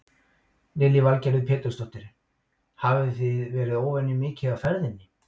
Lillý Valgerður Pétursdóttir: Hafið þið verið óvenju mikið á ferðinni?